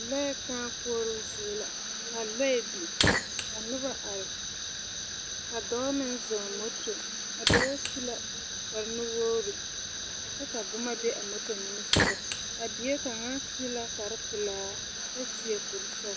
Lͻԑ kãã koͻroo zie la ka lͻԑ biŋ ka noba are ka dͻͻ meŋ zͻͻ moto. A dͻͻ su la kpare-nuwogiri, kyԑ ka boma be a moto nimisogͻ. A biekaŋa su la kpare-pelaa kyԑ seԑ kuri-sͻgelaa.